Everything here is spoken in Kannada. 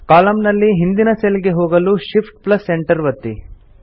ಕಾಲಮ್ ನಲ್ಲಿ ಹಿಂದಿನ ಸೆಲ್ ಗೆ ಹೋಗಲು Shift Enter ಒತ್ತಿ